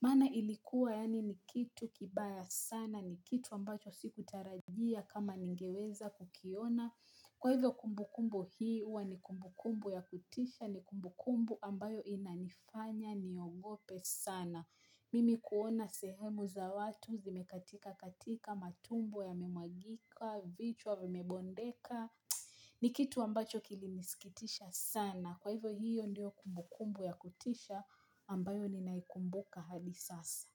Maana ilikuwa yaani ni kitu kibaya sana, ni kitu ambacho sikutarajia kama ningeweza kukiona Kwa hivyo kumbukumbu hii, huwa ni kumbukumbu ya kutisha, ni kumbukumbu ambayo inanifanya, niogope sana Mimi kuona sehemu za watu, zimekatika katika, matumbo yamemwagika, vichwa vimebondeka ni kitu ambacho kilinisikitisha sana. Kwa hivyo hiyo ndiyo kumbukumbu ya kutisha ambayo ninaikumbuka hadi sasa.